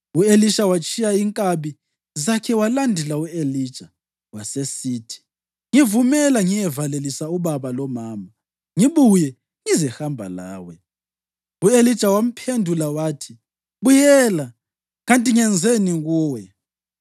U-Elisha watshiya inkabi zakhe walandela u-Elija. Wasesithi, “Ngivumela ngiyevalelisa ubaba lomama, ngibuye ngizehamba lawe.” U-Elija wamphendula wathi, “Buyela, kanti ngenzeni kuwe?”